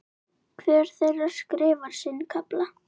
Hver þeirra skrifar sinn kafla.